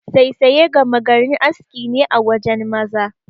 Saisaye gama garin aski ne a wajen maza.